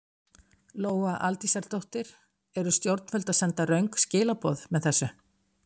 Lóa Aldísardóttir: Eru stjórnvöld að senda röng skilaboð með þessu?